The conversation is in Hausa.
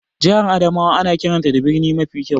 Jihar Adamawa ana kiranta da birni mafi kyau.